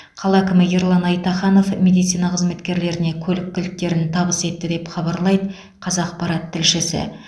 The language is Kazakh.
қала әкімі ерлан айтаханов медицина қызметкерлеріне көлік кілттерін табыс етті деп хабарлайды қазақпарат тілшісі